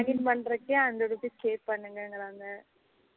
Log in பண்ணுறதுக்கே hundred rupee pay பண்ணுங்க இங்குறாங்க